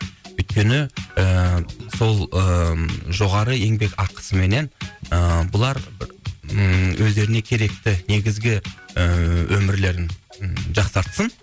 өйткені ііі сол ііі жоғары еңбек ақысыменен ііі бұлар ммм өздеріне керекті негізгі ііі өмірлерін жақсартсын